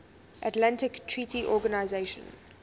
atlantic treaty organisation